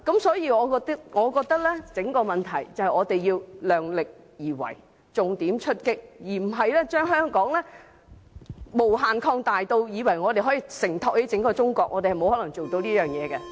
所以，我覺得整個問題是我們要量力而為，重點出擊，而不是把香港無限擴大至以為可以承托起整個中國，我們是沒有可能做到的。